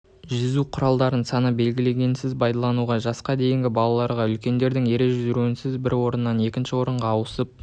жүзу құралдарын санды белгілерінсіз пайдалануға жасқа дейінгі балаларға үлкендердің ере жүруінсіз бір орыннан екінші орынға ауысып